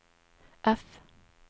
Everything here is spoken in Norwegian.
F